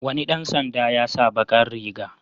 Wani ɗan sanda ya sa baƙar riga.